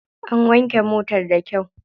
An wanke motar da kyau.